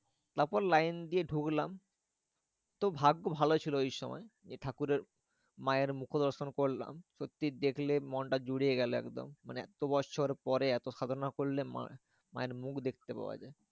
তারপর লাইন দিয়ে ঢুকলাম। তো ভাগ্য ভালো ছিল ওই সময় যে, ঠাকুরের মায়ের মুখো দর্শন করলাম। সত্যি দেখলে মনটা জুড়িয়ে গেলো একদম। মানে এত্ত বৎসর পরে এত সাধনা করলে মা মায়ের মুখ দেখতে পাওয়া যায়।